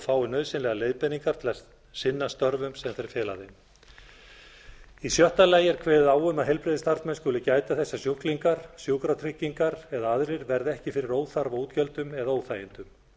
fái nauðsynlegar leiðbeiningar til að sinna störfum sem þeir fela þeim í sjötta lagi er kveðið er á um að heilbrigðisstarfsmenn skuli gæta þess að sjúklingar sjúkratryggingar eða aðrir verði ekki fyrir óþarfa útgjöldum eða óþægindum